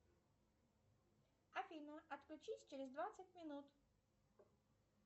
афина отключись через двадцать минут